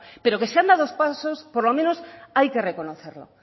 pero que se han dado pasos por lo menos hay que reconocerlo